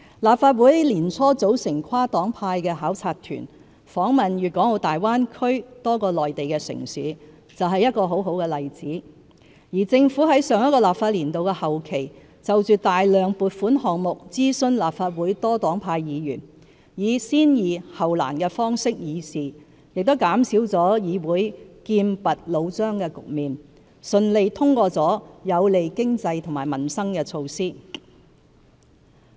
立法會年初組成跨黨派的考察團，訪問粵港澳大灣區多個內地城市，就是一個很好的例子；而政府在上一個立法年度的後期就大量撥款項目諮詢立法會多黨派議員，以"先易後難"的方式議事，亦減少了議會劍拔弩張的局面，順利通過了有利經濟和民生的措施。